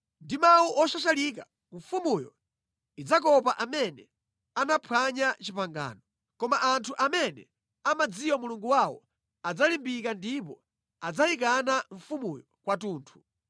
Ndi mawu oshashalika mfumuyo idzakopa amene anaphwanya pangano, koma anthu amene amadziwa Mulungu wawo adzalimbika ndipo adzayikana mfumuyo kwathunthu.